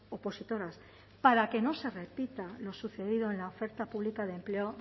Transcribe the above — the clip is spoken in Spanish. opositoras para que no se repita lo sucedido en la oferta pública de empleo